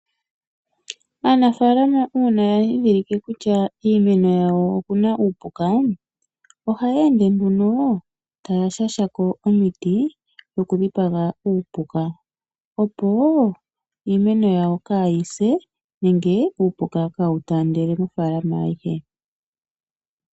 Aanafalama uuna ya dhindhilike kutya kiimeno yawo okuna iipuka ohaya ende nduno taya shashako omiti dhokudhipaga uupuka opo iimeno yawo kaayi se nenge iipuka kaayi tandele mofaalama ayihe.